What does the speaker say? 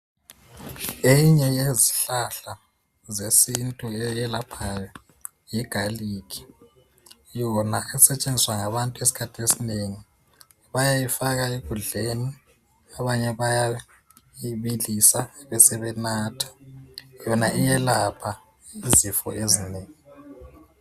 Eyinye yezihlahla zesintu eyelaphayo Yi galikhi. Yona esetshenziswa ngabantu esikhathini esinengi bayayifaka ekudleni ,abanye bayayibilisi bebesebenatha .yona iyelapha izifo ezinengi.